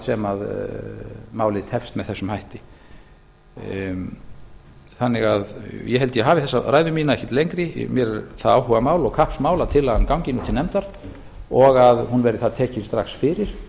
sem málið tefst með þessum hætti ég held að ég hafi þessa ræðu mína ekkert lengri mér er það áhugamál og kappsmál að tillagan gangi nú til nefndar og að hún verði þar tekin strax fyrir